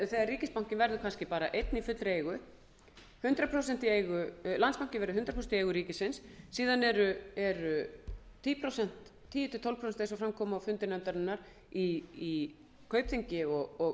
ríkisbankinn verður kannski bara einn í fullri eigu landsbankinn verði hundrað prósent í eigu ríkisins síðan eru tíu til tólf prósent eins og fram kom á fundi nefndarinnar í kaupþingi og